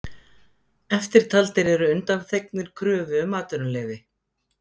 Eftirtaldir eru undanþegnir kröfu um atvinnuleyfi: